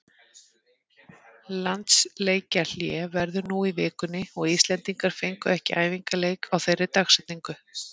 Landsleikjahlé verður nú í vikunni og Íslendingar fengu ekki æfingaleik á þeirri dagsetningu.